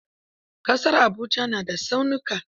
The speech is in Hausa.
Ƙasar Abuja na da tsaunuka.